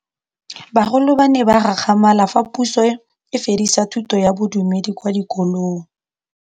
Bagolo ba ne ba gakgamala fa Pusô e fedisa thutô ya Bodumedi kwa dikolong.